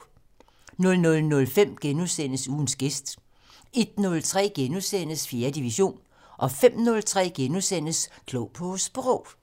00:05: Ugens gæst * 01:03: 4. division * 05:03: Klog på Sprog *